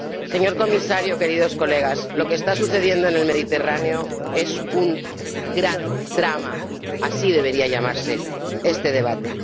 Señor Comisario, queridos colegas, lo que está sucediendo en el Mediterráneo es un gran drama, así debería llamarse este debate.